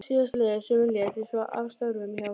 Síðastliðið sumar lét ég svo af störfum hjá félaginu.